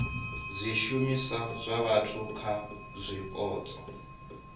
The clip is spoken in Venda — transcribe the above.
zwishumiswa zwa vhathu kha zwipotso